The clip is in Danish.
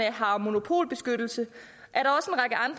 har monopolbeskyttelse